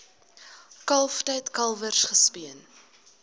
kalftyd kalwers gespeen